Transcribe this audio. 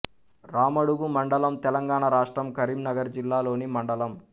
రామడుగు మండలం తెలంగాణ రాష్ట్రం కరీంనగర్ జిల్లా లోని మండలం